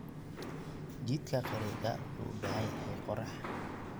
Jiidka qareega wuxuu u baahan yahay qorax.